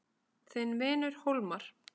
Þinn vinur Hólmar.